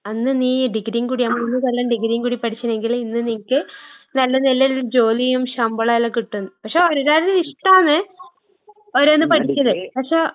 അന്ന് നീ ഡിഗ്രീം കൂടി, ആ മൂന്ന് കൊല്ലം ഡിഗ്രീം കൂടി പഠിച്ചിനേങ്കില് ഇന്ന് നിനക്ക് നല്ല നെലേലൊരു ജോലിയും ശമ്പളേല്ലാം കിട്ടും. പക്ഷെ ഓരോരോര്ടെ ഇഷ്ടാണ് ഓരോന്ന് പഠിക്കല്. പക്ഷെ